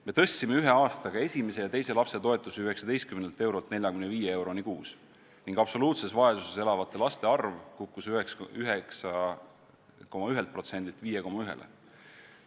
Me tõstsime ühe aastaga esimese ja teise lapse toetuse 19 eurolt 45 euroni kuus ning absoluutses vaesuses elavate laste arv kukkus 9,1%-lt 5,1%-le.